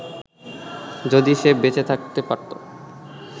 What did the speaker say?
যদি সে বেঁচে থাকতে পারতো